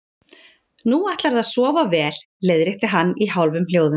Nú ætlarðu að sofa vel, leiðrétti ég hann í hálfum hljóðum.